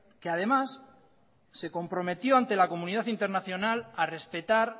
que además se comprometió ante la comunidad internacional a respetar